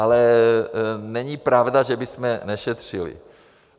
Ale není pravda, že bychom nešetřili.